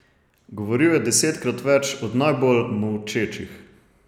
Govoril je desetkrat več od najbolj molčečih.